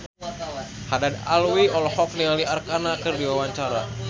Haddad Alwi olohok ningali Arkarna keur diwawancara